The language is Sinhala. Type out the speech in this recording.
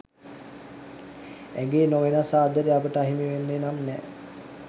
ඇගේ නොවෙනස් ආදරේ අපට අහිමි වෙන්නේ නම් නෑ